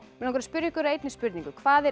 mig langar að spyrja ykkur að einni spurningu hvað er